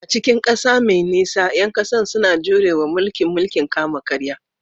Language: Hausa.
A cikin ƙasa mai nisa, ƴan ƙasa suna jure wa mulkin mulkin kama-karya